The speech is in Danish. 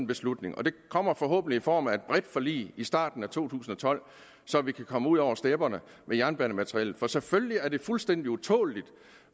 beslutning og den kommer forhåbentlig i form af et bredt forlig i starten af to tusind og tolv så vi kan komme ud over stepperne med jernbanemateriellet for selvfølgelig er det fuldstændig utåleligt